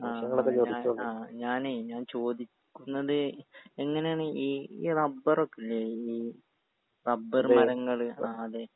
ആ ആ ഞാൻ ആ ഞാനേ ഞാൻ ചോദിക്കുന്നത് എങ്ങനേണ് ഈ ഈ റബ്ബറൊക്കെ ഇല്ലെ ഈ റബ്ബറ് മരങ്ങള് ആ അതെ.